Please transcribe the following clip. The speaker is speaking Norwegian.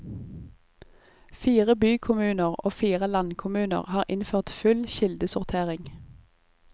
Fire bykommuner og fire landkommuner har innført full kildesortering.